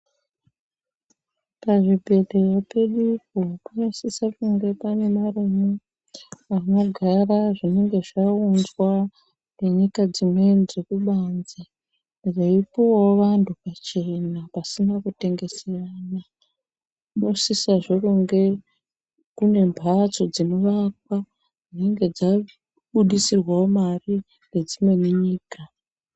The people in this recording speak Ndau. Pazvibhedhlera pedupo panosise kunge pane marumu anogara zvinenge zvaunzwa ngenyika dzimweni dzekubanze, zveipuwawo vantu pachena pasina kutengeserana. Panosisazve kunge kune mhatso dzinovakwa dzinge dzabudisirwawo mari ngedzimweni nyika.